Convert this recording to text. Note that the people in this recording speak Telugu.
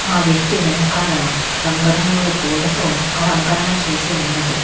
ఆ వ్యక్తి వెనకాల రంగురంగుల పూలతో అలంకరణ చేసి ఉన్నది.